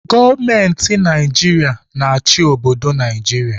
Gọọmenti Naijiria na-achị obodo Naijiria.